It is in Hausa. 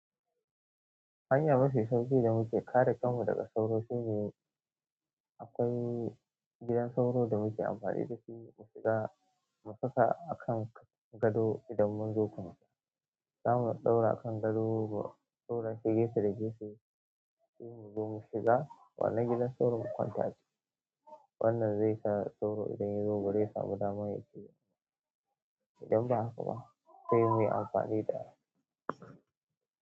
Hanya mafi sauƙi da muke kare kanmu daga sauro shine akwai gidan sauro da muke amfani da shi mu shiga mu saka a kan gado idan mun zo kwanciya. Zamu ɗaura akan gado ko ɗaurashi gefe da gefe muyi mu zo mu shiga. Wannan gidan sauro in kwanta aciki. Wannan zai sa sauro idan yazo bazai samu dama ya ciji idan ba haka ba sai muyi amfani da.